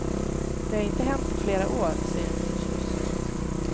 Det har inte hänt på flera år, säger hon förtjust.